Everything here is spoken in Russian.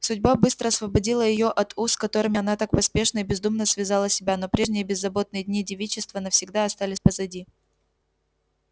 судьба быстро освободила её от уз которыми она так поспешно и бездумно связала себя но прежние беззаботные дни девичества навсегда остались позади